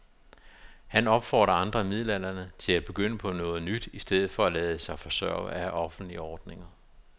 Han opfordrer andre midaldrende til at begynde på noget nyt i stedet for at lade sig forsørge af offentlige ordninger.